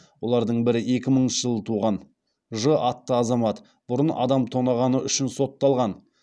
олардың бірі екі мыңыншы жылы туған ж атты азамат бұрын адам тонағаны үшін сотталған